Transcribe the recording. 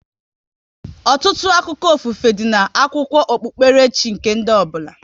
Ọtụtụ akụkọ ofufe, dị n'akwụkwọ okpukpere chi nke ndị ọbụla